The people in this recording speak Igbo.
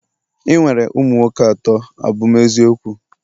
ị nwere ụmụ nwoke atọ, a bụ m eziokwu?